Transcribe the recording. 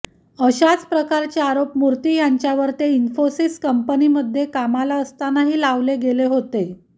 अश्याच प्रकारचे आरोप मूर्ती ह्यांच्यावर ते इन्फोसिस कंपनीमध्ये कामाला असतानाही लावले गेले होते